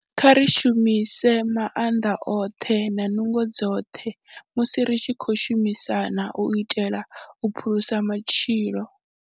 Kha ri shumise maanḓa oṱhe na nungo dzoṱhe musi ri tshi khou shumisana u itela u phulusa matshilo.